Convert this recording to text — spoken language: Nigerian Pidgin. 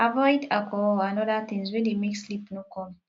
avoid alcohol and oda things wey dey make sleep no come